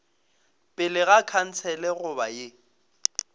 pele ga khansele goba ye